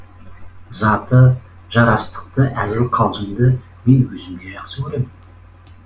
заты жарастықты әзіл қалжыңды мен өзім де жақсы керемін